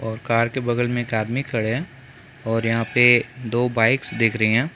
और कार के बगल में एक आदमी खड़े है और यहाँ पे दो बाइक्स दिख रही हैं ।